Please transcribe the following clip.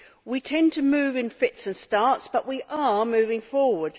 We tend to move in fits and starts, but we are moving forward.